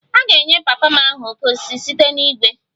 A ga-enye papa m aha 'oke osisi' site na igwe